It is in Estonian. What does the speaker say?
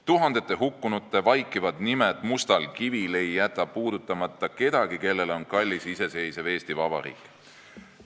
Tuhandete hukkunute vaikivad nimed mustal kivil ei jäta puudutamata kedagi, kellele on kallis iseseisev Eesti Vabariik.